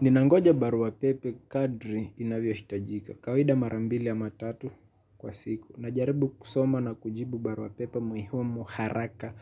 Ninangoja barua pepe kadri inavyohitajika. Kawaida mara mbili ama tatu kwa siku. Najaribu kusoma na kujibu barua pepe muhimu haraka